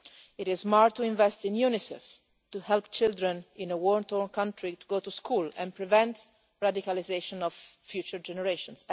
It is smart to invest in UNICEF to help children in a war torn country to go to school and prevent the radicalisation of future generations.